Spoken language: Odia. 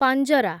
ପାଞ୍ଜରା